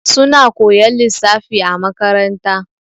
Suna koyan lissafi a makaranta.